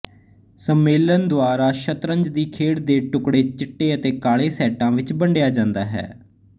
ਸੰਮੇਲਨ ਦੁਆਰਾ ਸ਼ਤਰੰਜ ਦੀ ਖੇਡ ਦੇ ਟੁਕੜੇ ਚਿੱਟੇ ਅਤੇ ਕਾਲੇ ਸੈੱਟਾਂ ਵਿੱਚ ਵੰਡਿਆ ਜਾਂਦਾ ਹੈ